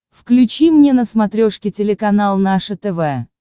включи мне на смотрешке телеканал наше тв